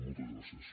moltes gràcies